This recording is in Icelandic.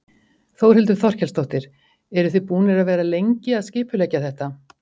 Þórhildur Þorkelsdóttir: Eru þið búnar að vera lengi að skipuleggja þetta?